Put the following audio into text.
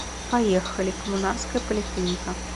поехали коммунарская поликлиника